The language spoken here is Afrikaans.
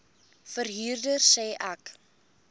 verhuurder sê ek